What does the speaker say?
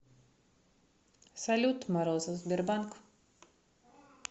салют морозов сбербанк